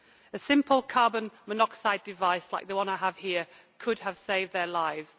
A simple carbon monoxide device, like the one I have here, could have saved their lives.